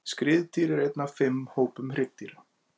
Skriðdýr er einn af fimm hópum hryggdýra.